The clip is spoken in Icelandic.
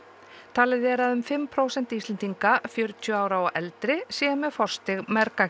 talið er að um fimm prósent Íslendinga fjörtíu ára og eldri séu með forstig